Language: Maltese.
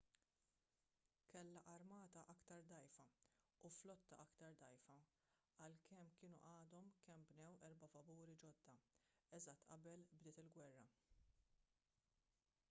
kellha armata aktar dgħajfa u flotta aktar dgħajfa għalkemm kienu għadhom kemm bnew erba' vapuri ġodda eżatt qabel bdiet il-gwerra